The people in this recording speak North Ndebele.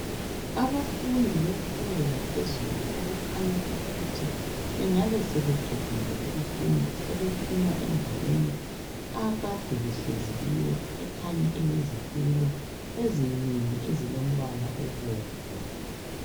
Abafundi bemfundo yaphezulu okukhanya ukuthi bengabe sebeqedile ukufunda sebephuma endaweni akade behlezi kiyo ekhanya ilezitulo ezinengi ezilombala obomvu.